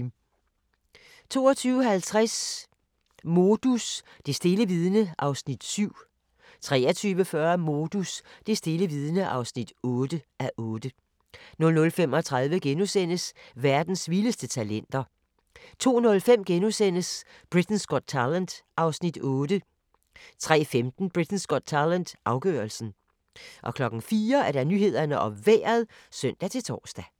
22:50: Modus: Det stille vidne (7:8) 23:40: Modus: Det stille vidne (8:8) 00:35: Verdens vildeste talenter * 02:05: Britain's Got Talent (Afs. 8)* 03:15: Britain's Got Talent - afgørelsen 04:00: Nyhederne og Vejret (søn-tor)